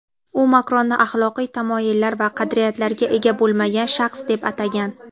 U Makronni axloqiy tamoyillar va qadriyatlarga ega bo‘lmagan shaxs deb atagan..